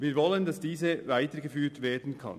Wir wollen, dass diese weitergeführt werden kann.